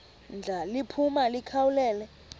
ndla liphuma likhawulele